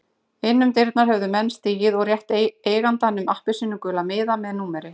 Inn um dyrnar höfðu menn stigið og rétt eigandanum appelsínugula miða með númeri.